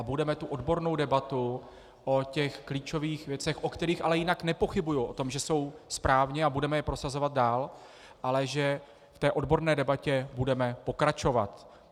A budeme v odborné debatě o těch klíčových věcech, u kterých ale jinak nepochybuji o tom, že jsou správně, a budeme je prosazovat dál, ale že v té odborné debatě budeme pokračovat.